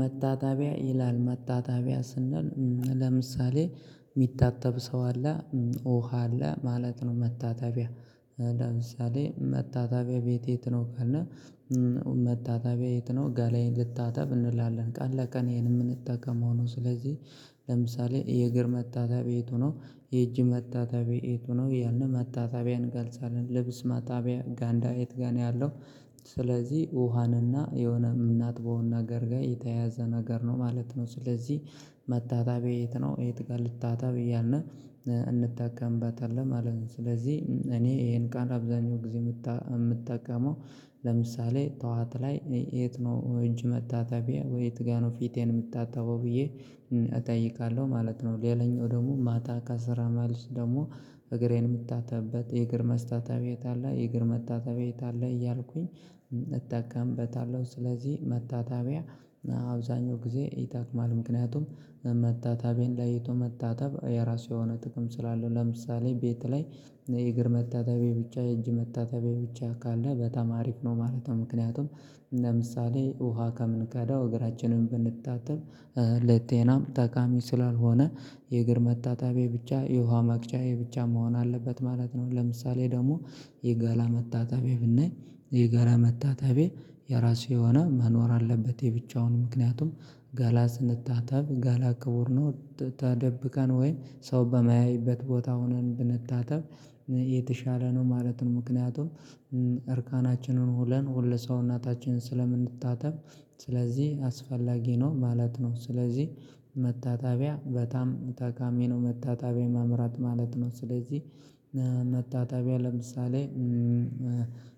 መታጠቢያ ይላል መታጠቢያ ስንል ለምሳሌ ሚታጠብ ሰው አለ ውሃ አለ ማለት ነው። መታጠቢያ ለምሳሌ መታጠቢያ ቤት የት ነው ካለ? መታጠቢያ የት ነው ጋላዬን ልታጠብ እንላለን። ቀን ለቀን ይሄን የምንጠቀመው ነው። ስለዚህ ለምሳሌ የእግር መታጠቢያ የቱ ነው? የእጅ መታጠቢያ የቱ ነው እያልን መታጠቢያን እንገልጻለን። ልብስ ማጠቢያ ጋንዳ የቱ ጋር ነው ያለው። ስለዚህ ውሃንና የሆነ የምናጥበውን ነገር ጋር የተያዘ ነገር ነው ማለት ነው። ስለዚህ መታጠቢያ የት ነው የት ጋር ልታጠብ እያልን እንጠቀምበታለን ማለት ነው። ስለዚህ እኔ ይሄን ቃል አብዛኛው ጊዜ የምጠቀመው ለምሳሌ ጠዋት ላይ የት ነው? እጅ መታጠቢያ ወይ የት ጋር ነው ፊቴን የምታጠውበው ብዬ እጠይቃለሁ ማለት ነው። ሌላኛው ደግሞ ማታ ከስራ መልስ ደግሞ እግሬን የምታጠበት የእግር መስታጠቢያ የት አለ? የእግር መታጠቢያ የት አለ? እያልኩኝ እጠቀምበታለሁ ስለዚህ መታጠቢያ አብዛኛው ጊዜ ይጠቅማል። ምክንያቱም መታጠቢያን ለይቶ መታጠብ የራሱ የሆነ ጥቅም ስላለ ለምሳሌ ቤት ላይ የእግር መታጠቢያ ብቻ የእጅ መታጠቢያ ብቻ ካለ በጣማ አሪፍ ነው ማለት ነው። ምክንያቱም ለምሳሌ ውሃ ከምንቀዳው እግራችንን ብንታጠብ ለጤናም ጠቃሚ ስላልሆነ የእግር መታጠቢያ ብቻ የውሃ መቅጃ ብቻ መሆን አለበት ማለት ነው። ለምሳሌ ደግሞ የገላ መታጠቢያ ብናይ የገላ መታጠቢያ የራሱ የሆነ መኖር አለበት። የብቻውን ምክንያቱም ገላ ስንታጠብ ገላ ክቡር ነው ተደብቀን ወይ ሰው በማያይበት ቦታ ሆነን ብንታጠብ የተሻለ ነው። ማለትን ምክንያቱም እርቃናችንን ሆነን ሁለሰውነታችንን ስለምንታጠብ ስለዚህ አስፈላጊ ነው ማለት ነው። ስለዚህ መታጠቢያ በጣም ጠቃሚ ነው። መታጠቢያ መምራት ማለት ነው። ስለዚህ መታጠቢያ ለምሳሌ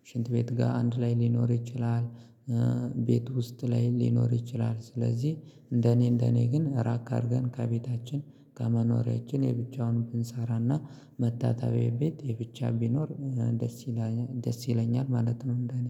ሽንት ቤት ጋር አንድ ላይ ሊኖር ይችላል። ቤት ውስጥ ላይ ሊኖር ይችላል። ስለዚህ እንደኔ እንደኔ ግን ራቅ አድርገን ከቤታችን ከመኖሪያችን የብቻውን ብንሰራና መታጠቢያ ቤት የብቻ ቢኖር ደስ ይላል ደስ ይለኛል ማለት ነው። እንደኔ